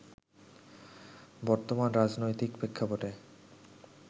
বর্তমান রাজনৈতিক প্রেক্ষাপটে